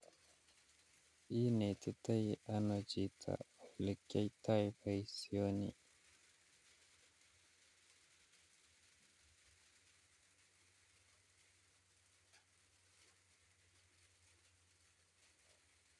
Inetitoi anoo chito olekiyoito boisioni